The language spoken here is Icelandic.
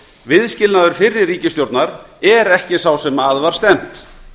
viðskilnaður fyrri ríkisstjórnar er ekki sá sem að var stefnt